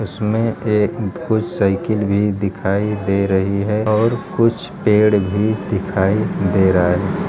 इसमें एक motorcycle भी दिखाई दे रही है और कुछ पेड़ भी दिखाई दे रहा हैं।